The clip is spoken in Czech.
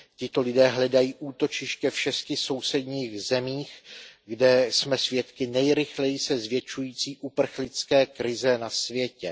Tito lidé hledají útočiště v 6 sousedních zemích, kde jsme svědky nejrychleji se zvětšující uprchlické krize na světě.